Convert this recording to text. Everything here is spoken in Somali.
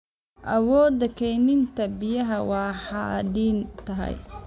Awoodda kaydinta biyaha waa xadidan tahay.